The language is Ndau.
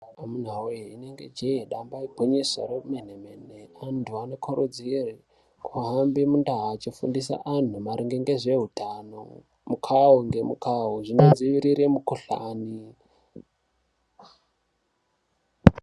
Amuna we inenge jee damba igwinyiso remene mene, antu anokurudzirwe kuhambe mundau achifundisa antu maringe nezve utano mukao nemukao zvinodzivirira mikuhlani.